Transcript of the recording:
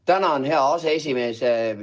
Tänan, hea aseesimees!